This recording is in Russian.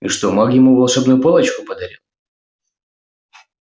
и что маг ему волшебную палочку подарил